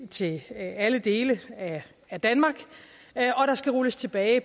til alle dele af danmark og der skal rulles tilbage i